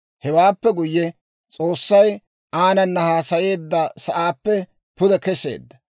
Hewaappe guyye, S'oossay aanana haasayeedda sa'aappe pude kesseedda.